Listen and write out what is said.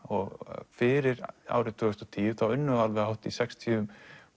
fyrir árið tvö þúsund og tíu þá unnu hátt í sextíu